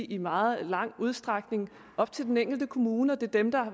i meget vid udstrækning op til den enkelte kommune og det er dem der